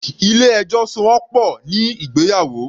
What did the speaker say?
Ilé ẹjọ́ so wọ́n pọ̀ ní ìgbéyàwó.